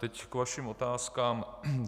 Teď k vašim otázkám.